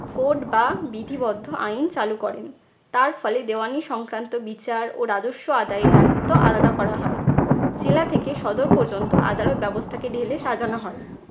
code বা বিধিবদ্ধ আইন চালু করেন। তার ফলে দেওয়ানি সংক্রান্ত বিচার ও রাজস্ব আদায়ের দায়িত্ব আলাদা করা হয়। জেলা থেকে সদর পর্যন্ত আদালত ব্যবস্থাকে ঢেলে সাজানো হয়।